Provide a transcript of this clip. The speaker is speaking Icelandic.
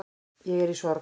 Ég er í sorg